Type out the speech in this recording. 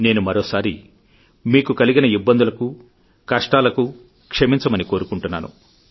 నేను మరోసారి మీకు కలిగిన ఇబ్బందులకు కష్టాలకు క్షమించమని కోరుకుంటున్నారు